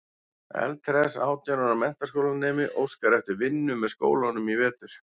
Eldhress átján ára menntaskólanemi óskar eftir vinnu með skólanum í vetur.